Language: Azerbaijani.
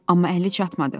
Amma əli çatmadı.